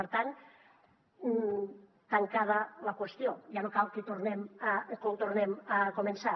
per tant tancada la qüestió ja no cal que ho tornem a començar